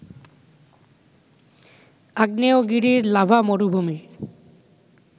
আগ্নেয়গিরির লাভা মরুভূমি